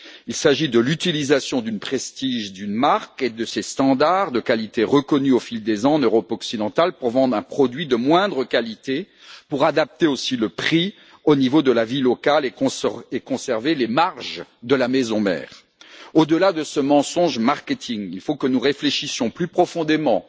Il s'agit de l'utilisation du prestige d'une marque et de ses normes de qualité, reconnues au fil des ans en Europe occidentale, pour vendre un produit de moindre qualité, en adapter le prix au niveau de la vie locale et préserver les marges de la maison mère. Au delà de ce mensonge marketing, il faut que nous réfléchissions plus profondément